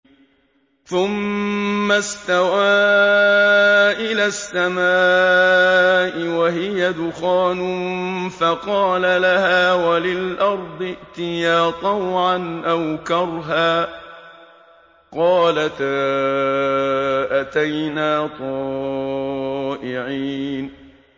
ثُمَّ اسْتَوَىٰ إِلَى السَّمَاءِ وَهِيَ دُخَانٌ فَقَالَ لَهَا وَلِلْأَرْضِ ائْتِيَا طَوْعًا أَوْ كَرْهًا قَالَتَا أَتَيْنَا طَائِعِينَ